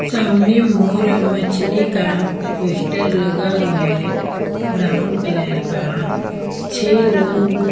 सामने मोर और मछली का पोस्टर लगा हुआ है ब्राउन कलर का छे लोग--